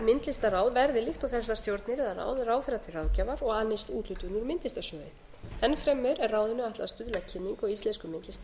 og myndlistarráð verði líkt og þessar stjórnir eða ráð ráðherra til ráðgjafar og annist úthlutun úr myndlistarsjóði enn fremur er ráðinu ætlað að stuðla að kynningu á íslenskum myndlistarmönnum og